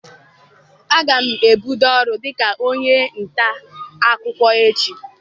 Aga m ebido ọrụ dịka onye nta akụkọ echi.